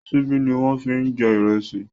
Ṣíbí ni wọ́n ń fi jẹ ìrẹsì.